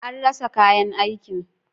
An rasa kayan aikin.